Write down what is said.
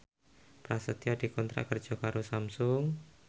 Prasetyo dikontrak kerja karo Samsung